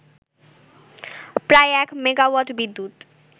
প্রায় এক মেগাওয়াট বিদ্যুৎ